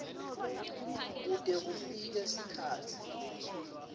kute kufike sikhatsi